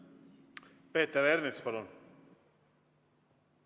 Peeter Ernits, palun!